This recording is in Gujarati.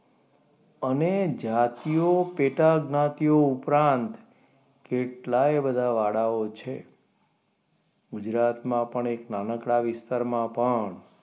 અને જાતિઓ પેટા જ્ઞાતિઓ ઉપરાંત કેટલાય બધા વાળાઓ છે. ગુજરાતમાં પણ એક નાનકડા વિસ્તારમાં પણ,